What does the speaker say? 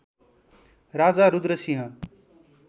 Raja Rudra Singh